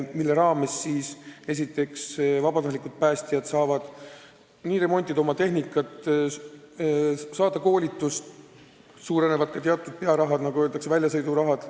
Selle raha eest võivad vabatahtlikud päästjad remontida oma tehnikat, saada koolitust, suurenevad ka teatud pearahad, nagu öeldakse, väljasõidusummad.